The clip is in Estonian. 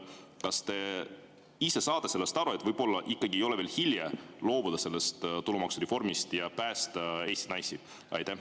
Kas te ise saate sellest aru, et võib-olla ei ole veel hilja tulumaksureformist loobuda ja päästa Eesti naisi?